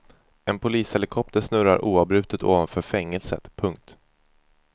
En polishelikopter snurrar oavbrutet ovanför fängelset. punkt